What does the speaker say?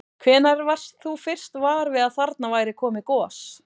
Hvenær varst þú fyrst var við að þarna væri komið gos?